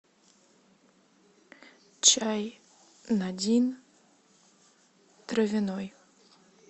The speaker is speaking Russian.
чай надин травяной